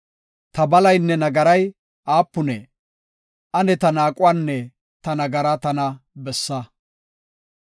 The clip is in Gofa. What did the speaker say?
Ta balaynne nagaray aapunee? Ane ta naaquwanne ta nagaraa tana bessa.